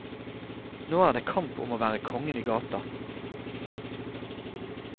Nå er det kamp om å være kongen i gata.